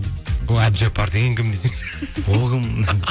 ол әбдіжаппар деген кім ол кім